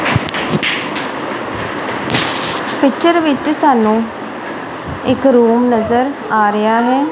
Picture ਵਿੱਚ ਸਾਨੂੰ ਇੱਕ ਰੂਮ ਨਜ਼ਰ ਆ ਰਿਹਾ ਹੈ।